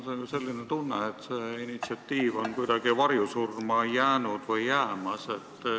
Mul on selline tunne, et see initsiatiiv on kuidagi varjusurma jäänud või jäämas.